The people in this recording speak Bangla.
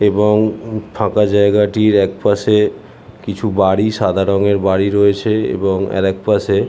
এবং ফাঁকা জায়গাটির একপাশে কিছু বাড়ি সাদা রং এর বাড়ি এবং একপাশে--